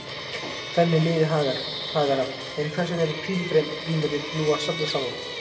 Þannig lifði Hagar af, en hvers vegna eru pílagrímarnir nú að safnast saman?